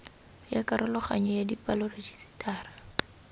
ya karologanyo ya dipalo rejisetara